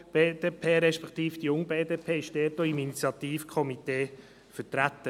Die BDP respektive die Junge BDP ist im Initiativkomitee vertreten.